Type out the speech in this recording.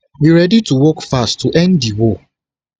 we ready to work fast to end di war